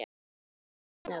Verður hún jöfn eða?